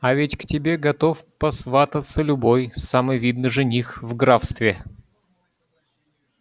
а ведь к тебе готов посвататься любой самый видный жених в графстве